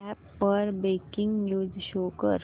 app वर breaking news show कर